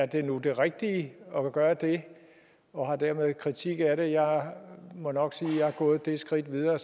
det nu er det rigtige at gøre det og har dermed en kritik af det jeg må nok sige at jeg er gået det skridt videre at